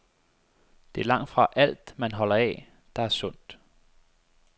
Det er langtfra alt, man holder af, der er sundt.